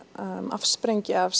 afsprengi af